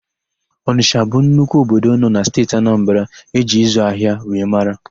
Ọnịsha bụ nnukwu obodo nọ na Steeti Anambara e ji ịzị ahịa wee mara.